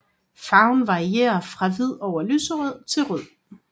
Farven varieret fra hvid over lyserød til rød